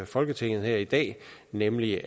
folketinget her i dag nemlig